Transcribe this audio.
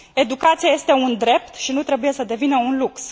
Educația este un drept și nu trebuie să devină un lux.